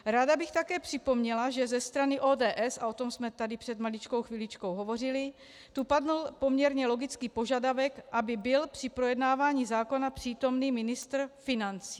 Ráda bych také připomněla, že ze strany ODS, a o tom jsme tady před maličkou chviličkou hovořili, tu padl poměrně logický požadavek, aby byl při projednávání zákona přítomen ministr financí.